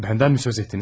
Məndən mi söz etdiniz?